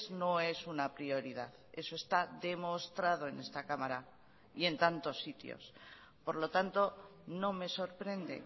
no es una prioridad eso está demostrado en esta cámara y en tantos sitios por lo tanto no me sorprende